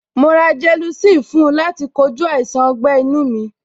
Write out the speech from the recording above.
Mo ra gelocin fún láti kojú àìsàn ọgbẹ́-inu mi.